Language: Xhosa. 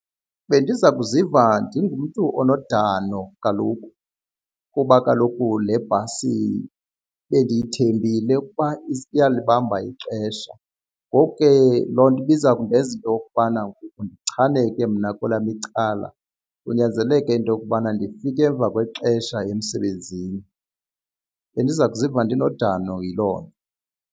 Bendiza kuziva ndingumntu onodano kaloku kuba kaloku le bhasi bendiyithembile ukuba iyalibamba ixesha, ngoku ke loo nto nto ibiza kundenza into yokubana ngoku ndichaneke mna kwelam icala kunyanzeleke into yokubana ndifike emva kwexesha emsebenzini. Bendiza kuziva ndinodano yilo nto.